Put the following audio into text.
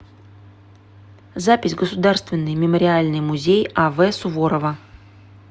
запись государственный мемориальный музей ав суворова